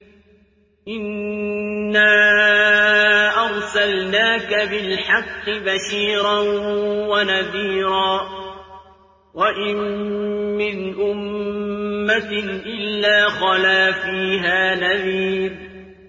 إِنَّا أَرْسَلْنَاكَ بِالْحَقِّ بَشِيرًا وَنَذِيرًا ۚ وَإِن مِّنْ أُمَّةٍ إِلَّا خَلَا فِيهَا نَذِيرٌ